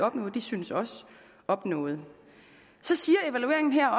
opnå synes også opnået så siger evalueringen her